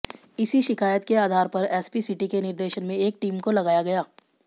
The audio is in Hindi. इसी शिकायत के आधार पर एसपी सिटी के निर्देशन में एक टीम को लगाया गया